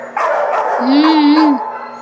ಹ್ಮ ಹ್ಮ.